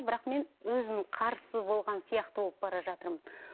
бірақ мен өзім қарсы болған сияқты болып бара жатырмын